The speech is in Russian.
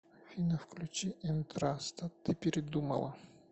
афина включи энтраста ты передумала